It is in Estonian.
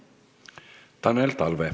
Tanel Talve.